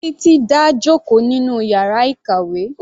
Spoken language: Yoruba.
Titi dá jòkó nínú yàrá ìkàwé.